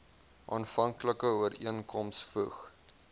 aanvanklike ooreenkoms voeg